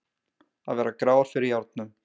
Að vera gráir fyrir járnum